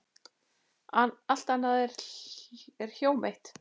Allt annað er hjóm eitt.